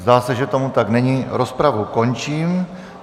Zdá se, že tomu tak není, rozpravu končím.